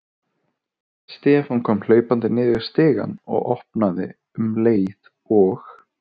Stefán kom hlaupandi niður stigann og opnaði um leið og